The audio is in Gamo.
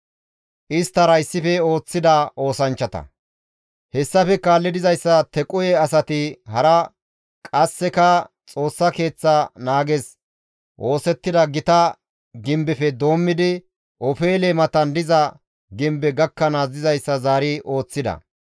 Hessafe kaalli dizayssa Tequhe asay hara qasseka Xoossa Keeththa naages oosettida gita gimbefe doommidi, «Ofeele» matan diza gimbe gakkanaas dizayssa zaari ooththida.